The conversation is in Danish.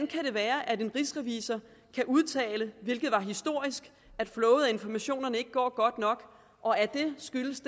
kan være at en rigsrevisor kan udtale hvilket var historisk at flowet af informationerne ikke går godt nok skyldes